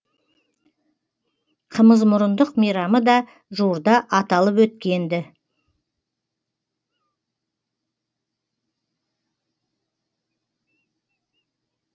қымызмұрындық мейрамы да жуырда аталып өткен ді